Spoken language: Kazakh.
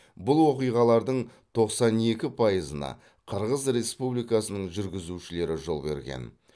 бұл оқиғалардың тоқсан екі пайызына қырғыз республикасының жүргізушілері жол берген